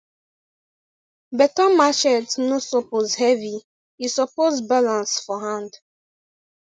beta machete no suppose heavy e suppose balance for hand